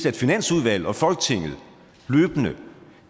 at finansudvalget og folketinget løbende